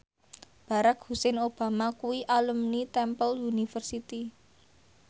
Barack Hussein Obama kuwi alumni Temple University